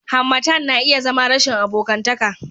harmattan na iya zama rashin abokantaka